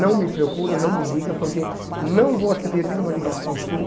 Não me procura, não me liga, porque não vou atender nenhuma ligação sua.